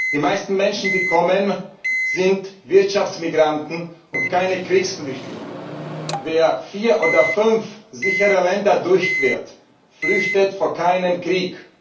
Die meisten Menschen, die kommen, sind Wirtschaftsmigranten und keine Kriegsflüchtlinge. Wer vier oder fünf sichere Länder durchquert, flüchtet vor keinem Krieg.